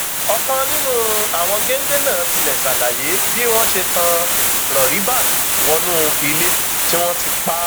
ọkan nínú àwọn géńdé náà tilẹ ṣàlàyé bí wọn ṣe tán rọríbat wọnú ilé tí wọn ti pa